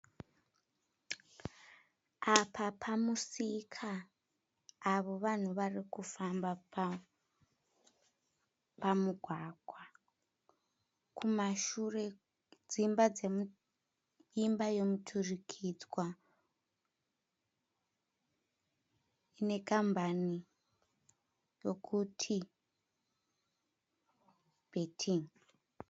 Apa pamusika. Avo vanhu vari kufamba pamugwagwa. Kumashure dzimba dzomu imba yomuturikidzwa ine kambani yokuti bhetin'i.